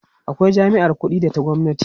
akwai jami'ar ƙuɗi da ta gwamnati